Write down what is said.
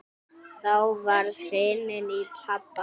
Þá var hringt í pabba.